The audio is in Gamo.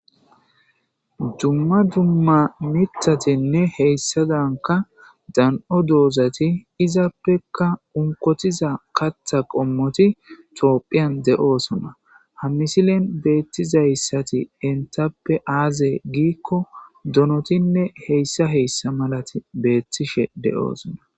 Duma duma mithatine hisadanka Dan'o dozati izappeka onkotiza kaththa qommoti tophiyan de'iyosona ha misilen betizaysati entappe aze gikko donotine h.h.malati betishe de'osona